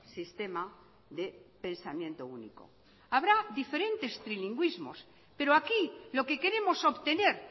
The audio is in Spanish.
sistema de pensamiento único habrá diferentes trilingüismos pero aquí lo que queremos obtener